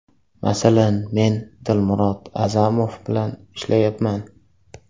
Masalan, men Dilmurod A’zamov bilan ishlayapman.